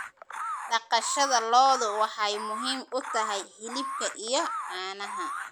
Dhaqashada lo'du waxay muhiim u tahay hilibka iyo caanaha.